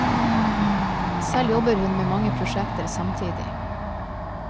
Selv jobber hun med mange prosjekter samtidig.